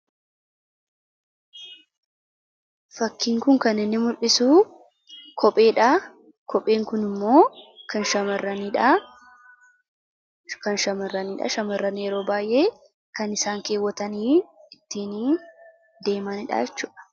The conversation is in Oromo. fakkiin kun kan inni mul'hisu kopheedhaa kopheen kun immoo kan shamarraniidha shamarrani yeroo baay'ee kan isaan keewwatanii ittiin deemandhaachuudha